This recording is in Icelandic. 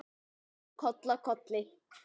Og síðan koll af kolli.